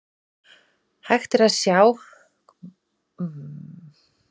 Hægt er að sjá má hvort íslenska er mál skjalsins neðst til vinstri í skjalinu.